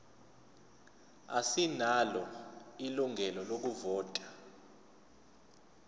asinalo ilungelo lokuvota